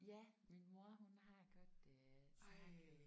Ja min mor hun har godt øh snakket